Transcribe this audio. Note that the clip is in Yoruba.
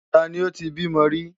Ta ni ó ti bímọ rí?